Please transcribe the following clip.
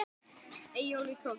Eyjólf í Króki.